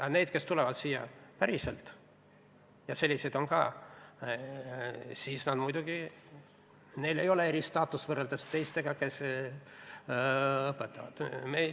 Aga neil, kes tulevad siia päriselt – ja selliseid on ka –, muidugi ei ole eristaatust võrreldes teistega õppejõududega, kes õpetavad.